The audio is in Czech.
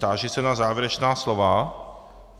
Táži se na závěrečná slova.